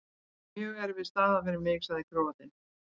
Þetta er mjög erfið staða fyrir mig, sagði Króatinn.